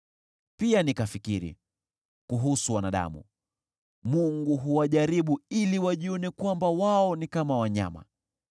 Pia nikafikiri, “Kuhusu wanadamu, Mungu huwajaribu ili wajione kwamba wao ni kama wanyama.